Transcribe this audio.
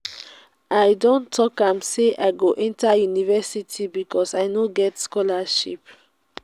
i don tok am sey i go enta university because i go get scholarship.